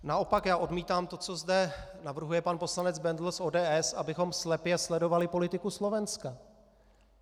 Naopak já odmítám to, co zde navrhuje pan poslanec Bendl z ODS, abychom slepě sledovali politiku Slovenska.